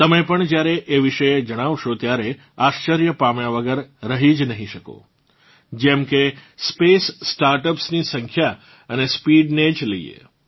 તમે પણ જ્યારે એ વિશે જાણશો ત્યારે આશ્ચર્ય પામ્યા વગર રહી જ નહીં શકો જેમ કે સ્પેસસ્ટાર્ટઅપ્સ ની સંખ્યા અને સ્પીડ ને જ લઇએ